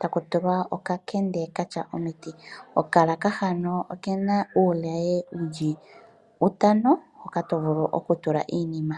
takutulwa okakende katya omiti. Okalaka hano okena uulaye wuli utano hoka to vulu okutula iinima.